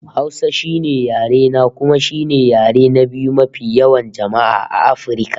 Hausa shine yare na, kuma shine yare na biyu mafi yawan jama'a a Afirka